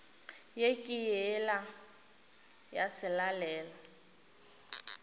ye ke yela ya selalelo